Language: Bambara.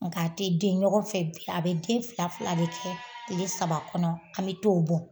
Nka a tɛ den ɲɔgɔn fɛ bi a bɛ den fila fila de kɛ tile saba kɔnɔ an bɛ t'o bɔ.